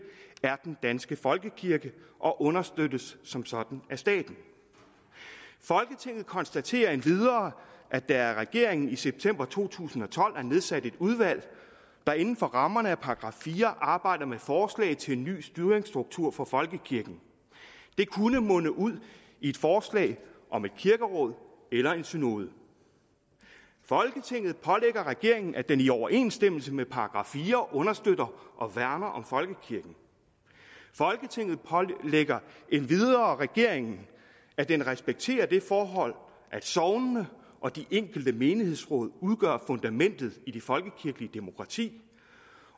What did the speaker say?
er den danske folkekirke og understøttes som sådan af staten folketinget konstaterer endvidere at der af regeringen i september to tusind og tolv er nedsat et udvalg der inden for rammerne af § fire arbejder med forslag til en ny styringsstruktur for folkekirken det kunne munde ud i et forslag om et kirkeråd eller en synode folketinget pålægger regeringen at den i overensstemmelse med § fire understøtter og værner om folkekirken folketinget pålægger endvidere regeringen at den respekterer det forhold at sognene og de enkelte menighedsråd udgør fundamentet i det folkekirkelige demokrati